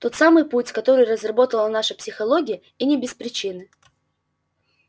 тот самый путь который разработала наша психология и не без причины